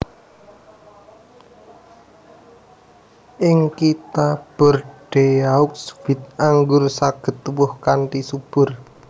Ing Kitha Bordeaux wit anggur saged tuwuh kanthi subur